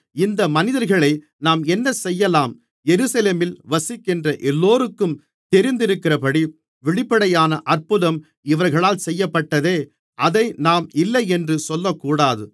இந்த மனிதர்களை நாம் என்ன செய்யலாம் எருசலேமில் வசிக்கின்ற எல்லோருக்கும் தெரிந்திருக்கிறபடி வெளிப்படையான அற்புதம் இவர்களால் செய்யப்பட்டதே அதை நாம் இல்லையென்று சொல்லக்கூடாது